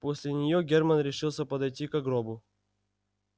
после нее германн решился подойти ко гробу